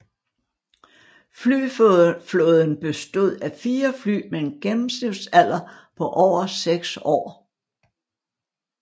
Flyflåden bestod af 4 fly med en gennemsnitsalder på over 6 år